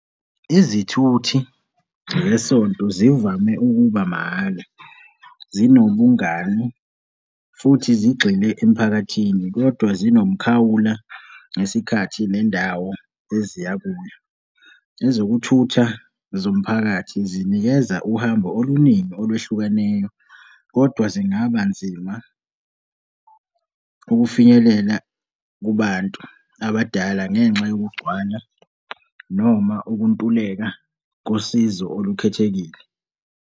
Izithuthi zesonto zivame ukuba mahhala, zinobungani futhi zigxile emphakathini, kodwa zinomkhawula ngesikhathi nendawo eziya kuyo. Ezokuthutha zomphakathi zinikeza uhambo oluningi olwehlukeneyo, kodwa zingabanzima ukufinyelela kubantu abadala ngenxa yokugcwala noma ukuntuleka kosizo olukhethekile.